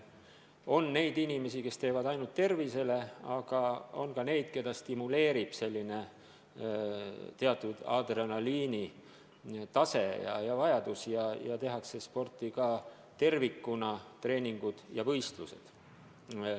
On inimesi, kes teevad sporti ainult tervise huvides, aga on ka neid, keda stimuleerib teatud adrenaliinitase, mille puhul sporti tehakse nii, et on treeningud ja ka võistlused.